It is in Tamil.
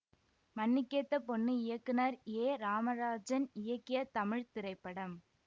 மண்ணுக்கேத்த பொண்ணு இயக்குனர் ஏ ராமராஜன் இயக்கிய தமிழ் திரைப்படம்